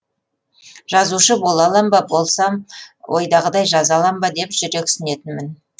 жазушы бола алам ба болсам ойдағыдай жаза алам ба деп жүрексінетінмін